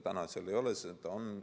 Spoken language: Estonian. Täna seda ei ole.